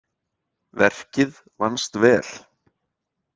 Verkið vannst vel.